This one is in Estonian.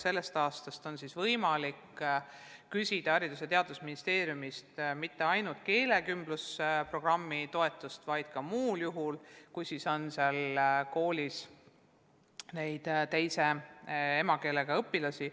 Sellest aastast on võimalik küsida Haridus- ja Teadusministeeriumist mitte ainult keelekümblusprogrammi toetust, vaid ka muul juhul, kui koolis on teise emakeelega õpilasi.